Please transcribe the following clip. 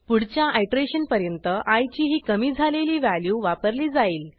पुढच्या आयटरेशन पर्यंत आय ची ही कमी झालेली व्हॅल्यू वापरली जाईल